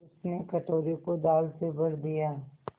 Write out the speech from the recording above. उसने कटोरे को दाल से भर दिया